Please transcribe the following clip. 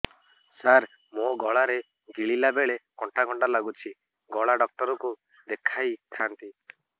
ସାର ମୋ ଗଳା ରେ ଗିଳିଲା ବେଲେ କଣ୍ଟା କଣ୍ଟା ଲାଗୁଛି ଗଳା ଡକ୍ଟର କୁ ଦେଖାଇ ଥାନ୍ତି